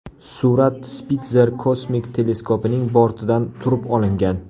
Surat Spitzer kosmik teleskopining bortidan turib olingan.